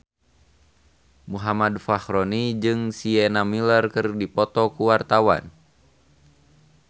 Muhammad Fachroni jeung Sienna Miller keur dipoto ku wartawan